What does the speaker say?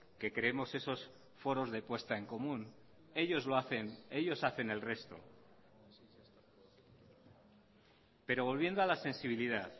que creemos esos foros de puesta en común ellos lo hacen ellos hacen el resto pero volviendo a la sensibilidad